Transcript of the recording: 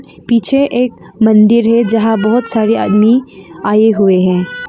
पीछे एक मंदिर है यहां बहुत सारे आदमी आए हुए हैं।